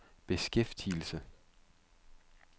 beskæftigelse